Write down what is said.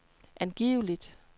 angiveligt